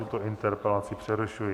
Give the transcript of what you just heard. Tuto interpelaci přerušuji.